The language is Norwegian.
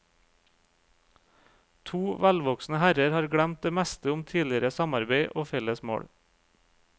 To velvoksne herrer har glemt det meste om tidligere samarbeid og felles mål.